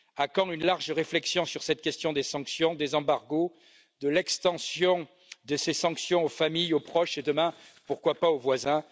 À quand une large réflexion sur cette question des sanctions, des embargos, de l'extension de ces sanctions aux familles, aux proches et demain pourquoi pas aux voisins?